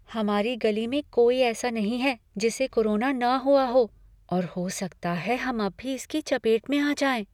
हमारी गली में कोई ऐसा नहीं है जिसे कोरोना न हुआ है और हो सकता है अब हम भी इसकी चपेट में आ जाएं।